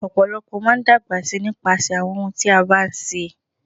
Ọ̀pọ̀lọ́pọ̀ máa n dágbà sí nípasẹ̀ àwọn ohun tí a bá ń ṣe.